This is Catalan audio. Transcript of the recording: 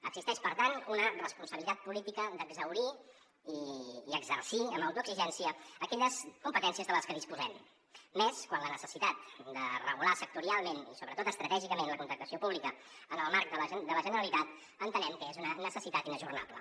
existeix per tant una responsabilitat política d’exhaurir i exercir amb autoexigència aquelles competències de les que disposem més quan la necessitat de regular sectorialment i sobretot estratègicament la contractació pública en el marc de la generalitat entenem que és una necessitat inajornable